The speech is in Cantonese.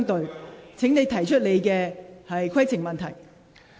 陳志全議員，請提出你的規程問題。